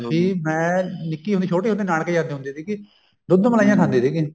ਕੀ ਮੈਂ ਨਿੱਕੀ ਹੁੰਦੀ ਛੋਟੀ ਹੁੰਦੀ ਨਾਨਕੇ ਜਾਂਦੀ ਹੁੰਦੀ ਸੀਗੀ ਦੁੱਧ ਮਲਾਈਆਂ ਖਾਂਦੀ ਸੀਗੀ